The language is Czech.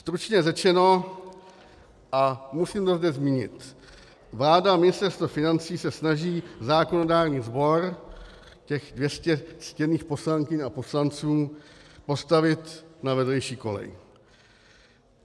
Stručně řečeno, a musím to zde zmínit, vláda a Ministerstvo financí se snaží zákonodárný sbor, těch 200 ctěných poslankyň a poslanců, postavit na vedlejší kolej.